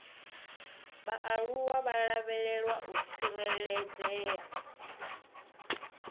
vhaaluwa vha lavhelwa u tsireledzea